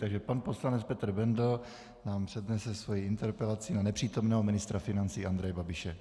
Takže pan poslanec Petr Bendl nám přednese svoji interpelaci na nepřítomného ministra financí Andreje Babiše.